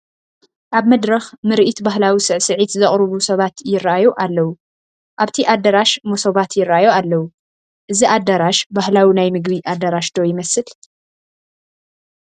ኣብ መድረኽ ምርኢት ባህላዊ ስዕስዒት ዘቕርቡ ሰባት ይርአዩ ኣለዉ፡፡ ኣብቲ ኣዳራሽ መሶባት ይርአዩ ኣለዉ፡፡ እዚ ኣዳራሽ ባህላዊ ናይ ምግቢ ኣዳራሽ ዶ ይመስል?